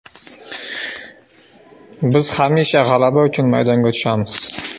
Biz hamisha g‘alaba uchun maydonga tushamiz.